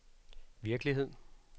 virkelighed